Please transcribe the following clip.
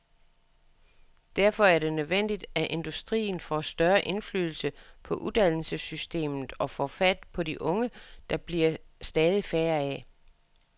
Derfor er det nødvendigt, at industrien får større indflydelse på uddannelsessystemet og får fat på de unge, der bliver stadig færre af.